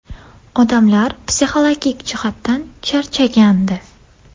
Odamlar psixologik jihatdan charchagandi.